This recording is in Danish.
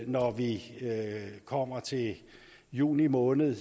når vi kommer til juni måned